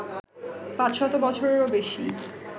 পাঁচশত বছরেরও বেশি